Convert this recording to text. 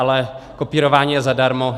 Ale kopírování je zadarmo.